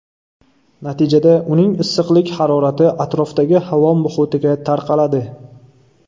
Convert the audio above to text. Natijada uning issiqlik harorati atrofdagi havo muhitiga tarqaladi.